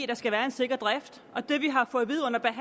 der skal være en sikker drift og det vi har fået